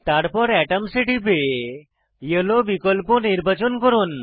তারপর এটমস এ টিপে য়েলো বিকল্প নির্বাচন করুন